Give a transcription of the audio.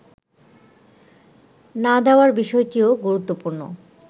না দেওয়ার বিষয়টিও গুরুত্বপূর্ণ